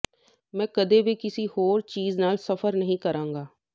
ਮੈਂ ਕਦੇ ਵੀ ਕਿਸੇ ਹੋਰ ਚੀਜ਼ ਨਾਲ ਸਫ਼ਰ ਨਹੀਂ ਕਰਾਂਗਾ